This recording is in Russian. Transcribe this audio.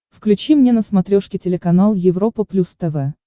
включи мне на смотрешке телеканал европа плюс тв